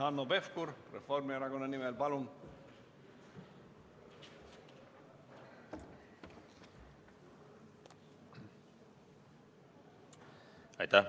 Hanno Pevkur, Reformierakonna nimel, palun!